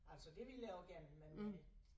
Altså det ville jeg også gerne men men